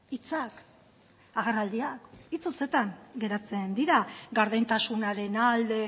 hitzak agerraldiak hitz hutsetan geratzen dira gardentasunaren alde